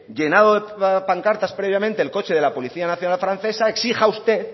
llenado de pancartas previamente el coche de la policía nacional francesa exija usted